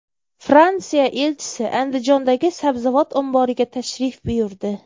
Fransiya elchisi Andijondagi sabzavot omboriga tashrif buyurdi.